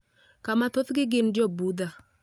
kama thothgi gin Jo-Budha.